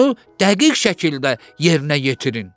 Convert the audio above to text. Onu dəqiq şəkildə yerinə yetirin.